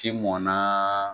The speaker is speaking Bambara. ti mɔnna